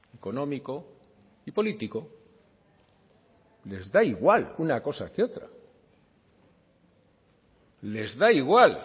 económico y político les da igual una cosa que otra les da igual